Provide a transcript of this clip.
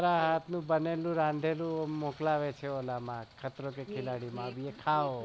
અલ આટલું બને લઉં રાંધેલું મોકલે છે એ ખાત્રોકે ખીલાડીમાં ખાઓ